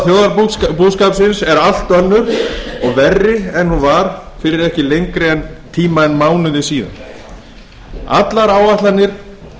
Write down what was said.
á landi staða þjóðarbúskaparins er allt önnur og verri en hún var fyrir ekki lengri tíma en mánuði síðan allar áætlanir